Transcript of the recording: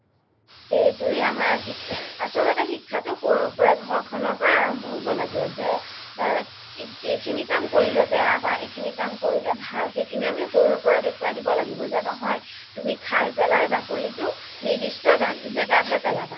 সেইটোৱে আচলতে শিক্ষাটো সৰুৰ পৰাই ঘৰ খ্নৰ পৰাই আৰাম্ভ হ'ব লাগে যে এইখিনি কাম কৰিলে বেয়া বা এইখিনি কাম কৰিলে ভাল সেইখিনি আমি সৰুৰ পৰাই দেখুৱাই দিব লাগিব যে নহয় তুমি খাই পেলাই বাকলিটো নিৰ্দিশ্ত জাগাত হে পেলাবা